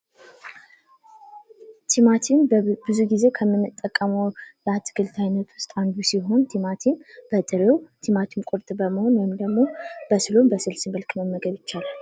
ቲማቲም ብዙ ጊዜ ከምንጠቀመው የአትክልት አይነቶች አንዱ ሲሆን በጥሩ በጥሬው ወይም ደግሞ ለምግብነት ነው።